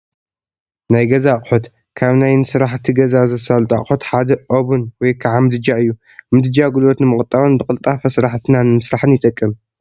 ናይ ገዛ ኣቑሑት፡- ካብ ናይ ንስራሕቲ ገዛ ዘሳልጡ ኣቑሑት ሓደ ኦብን ወይ ከዓ ምድጃ እዩ፡፡ ምድጃ ጉልበት ንምቑጣብን ብቕልጣፈ ስራሕቲና ንምስራሕን ይጠቅም፡፡